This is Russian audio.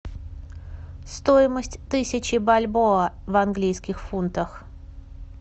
стоимость тысячи бальбоа в английских фунтах